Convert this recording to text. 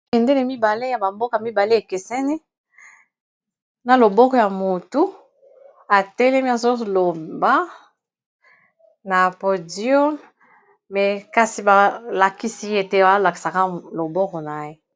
Bendele mibale ya bamboka mibale ekeseni na loboko ya motu etelemi azoloba na podio me kasi balakisi ete alakisaka loboko na ye